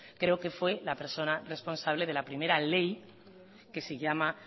creo que fue la persona responsable de la primera ley que se llama